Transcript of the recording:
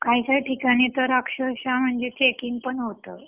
काही काही ठिकाणी तर अक्षरक्ष चेकिंग पण होतं